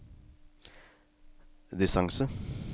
distance